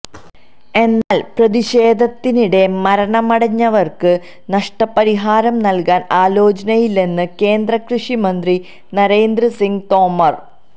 എന്നാല് പ്രതിഷേധത്തിനിടെ മരണമടഞ്ഞവര്ക്ക് നഷ്ടപരിഹാരം നല്കാന് ആലോചനയില്ലെന്ന് കേന്ദ്ര കൃഷി മന്ത്രി നരേന്ദ്ര സിംഗ് തോമര്